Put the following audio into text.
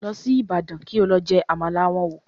Lọ sí Ibadan kí o lọ jẹ Àmàlà wọn wò